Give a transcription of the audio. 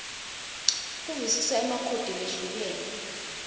kuvisisa emakhodi lehlukene